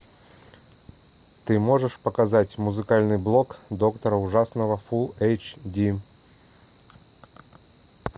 ты можешь показать музыкальный блог доктора ужасного фулл эйч ди